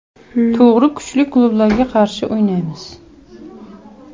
To‘g‘ri, kuchli klublarga qarshi o‘ynaymiz.